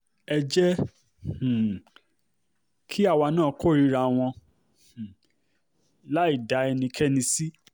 ẹ jẹ́ um kí àwa náà kórìíra wọn um láì dá ẹnikẹ́ni sí